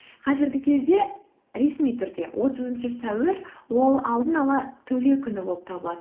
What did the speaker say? қазіргі кезде ресми түрде отызыншы сәуір ол алдын ала төлеу күні болып табылады